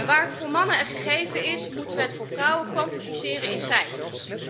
Waar het voor mannen een gegeven is, moeten we het voor vrouwen kwantificeren in cijfers.